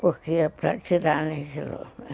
Porque é para tirarem aquilo.